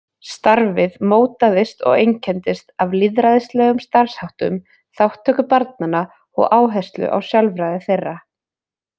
Starfið mótaðist og einkenndist af lýðræðislegum starfsháttum, þátttöku barnanna og áherslu á sjálfræði þeirra.